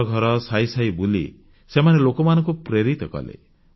ଘରଘର ସାହି ସାହି ବୁଲି ସେମାନେ ଲୋକଙ୍କୁ ପ୍ରେରିତ କଲେ